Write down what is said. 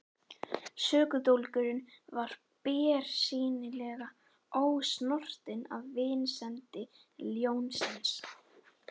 Sökudólgurinn var bersýnilega ósnortinn af vinsemd ljónsins.